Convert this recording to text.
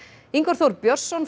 Ingvar Þór Björnsson